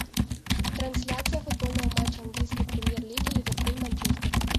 трансляция футбольного матча английской премьер лиги ливерпуль манчестер